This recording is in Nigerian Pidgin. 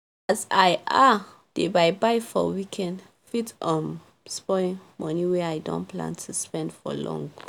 as i um dey buy buy for weekend fit um spoil money wey i don plan to spend for long